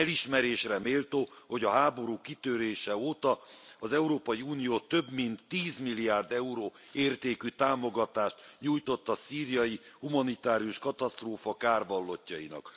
Elismerésre méltó, hogy a háború kitörése óta az Európai Unió több mint 10 milliárd euró értékű támogatást nyújtott a szíriai humanitárius katasztrófa kárvallottjainak.